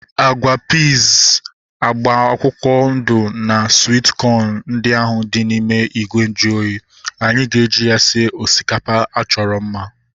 Agwa piiz agba akwụkwọ ndụ na swit kọn ndị ahu dị n'ime ìgwè nju oyi, anyị ga-eji ya sie osikapa achọrọ mma